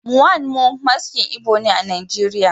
Mmanwu Maskin Igbo ne a Najeriya